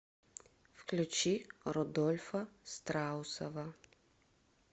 включи рудольфа страусова